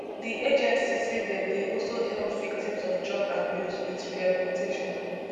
di agency say dem dey also help victims of drug abuse with rehabilitation